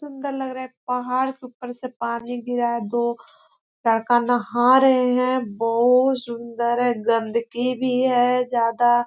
सुंदर लग रहा है पहाड़ के ऊपर से पानी गिरा है दो लड़का नहा रहे है बहुत सुंदर है गंदगी भी है ज्यादा--